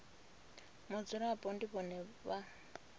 mudzulapo ndi vhone vhane vha